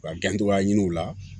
Ka gɛncogoya ɲini u la